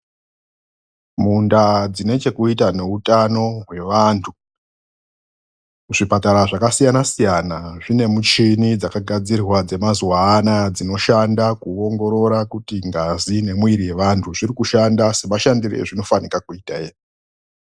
Mundaa dzinochekuita neutano hwevantu, zvipatara zvakasiyanasiyana zvinemuchini dzakagadzirirwa dzemazuva anaya dzinoshanda kuongorora kuti ngazi nemwiri yevantu zviri kushanda semashandiro azvinofanika kuita ere.